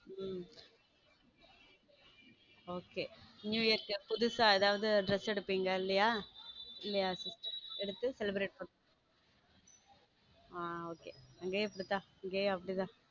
உம் okay new year க்கு புதுசா ஏதாவது dress எடுப்பீங்க இல்லையா இல்லையா dress எடுத்து celebrate பண்ணுங்க ஹம் okay இங்கேயும் அப்படித்தான் இங்கேயும் அப்படித்தான்.